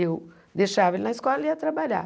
Eu deixava ele na escola e ia trabalhar.